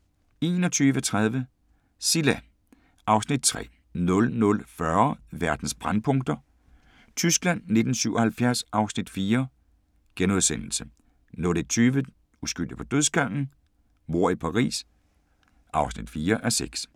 21:30: Cilla (Afs. 3) 00:40: Verdens brændpunkter: Tyskland 1977 (Afs. 4)* 01:20: Uskyldig på dødsgangen? Mord i Paris (4:6)